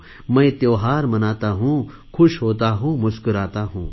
मैं त्योहार मनाता हूँ ख़ुश होता हूँ मुस्कुराता हूँ